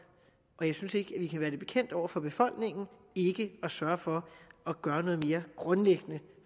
og jeg synes ikke at vi kan være bekendt over for befolkningen ikke at sørge for at gøre noget mere grundlæggende